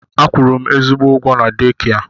A kwụrụ m ezigbo ụgwọ na deekia.